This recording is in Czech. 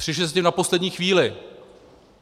Přišli jste s tím na poslední chvíli.